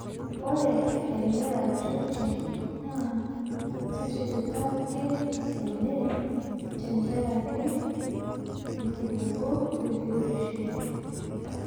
ore ele ratioti naa ketipikake ene te nkaraki irkiliku le biotisho.